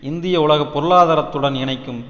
இந்திய உலக பொருளாதாரத்துடன் இணைக்கும்